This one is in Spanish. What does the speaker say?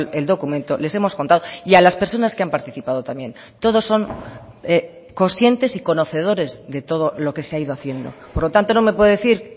el documento les hemos contado y a las personas que han participado también todos son conscientes y conocedores de todo lo que se ha ido haciendo por lo tanto no me puede decir